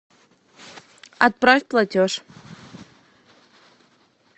отправь платеж